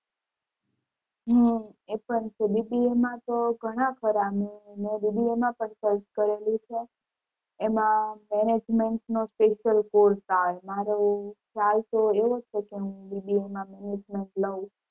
હમ એ પણ છે. BBA તો ઘણા ખરા મે મે BBA માં પણ search કરેલી છે એમાં management નો special course આવે મારો try તો એવો જ છે કે હું BBA માં management લઉં.